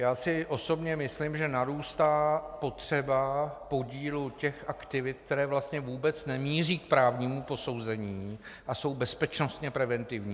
Já osobně si myslím, že narůstá potřeba podílu těch aktivit, které vlastně vůbec nemíří k právnímu posouzení a jsou bezpečnostně preventivní.